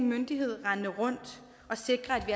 myndighed rendende rundt og sikre